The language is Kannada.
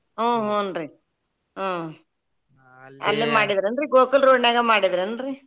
ಹು ಹುಂ ರೀ ಅಲ್ಲೆ ಮಾಡಿದ್ ಏನ್ರಿ ಗೋಕುಲ road ನ್ಯಾಗ ಮಾಡಿದ್ ಏನ್ರಿ?